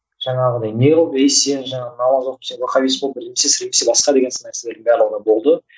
жаңағыдай не болды ей сен жаңағы намаз оқып сен вахаббист болып басқа деген сынды нәрселердің барлығы да болды